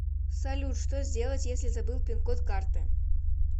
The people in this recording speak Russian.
салют что сделать если забыл пин код карты